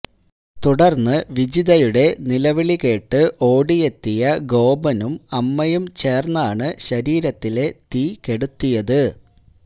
തുടര്ന്ന് വിജിതയുടെ നിലവിളി കേട്ട് ഓടിയെത്തിയ ഗോപനും അമ്മയും ചേര്ന്നാണ് ശരീരത്തിലെ തീകെടുത്തിയത്